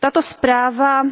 Tato zpráva